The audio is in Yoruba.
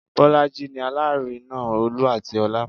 Bolaji ni Alárinà Olú àti ọlá